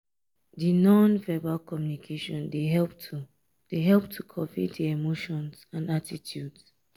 di non-verbal communication dey help to dey help to convey di emotions and attitudes.